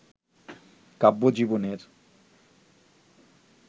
কাব্যজীবনের